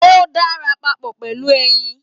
O dára papọ pẹlú ẹyìn.